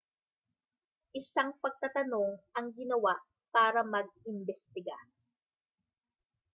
isang pagtatanong ang ginawa para mag-imbestiga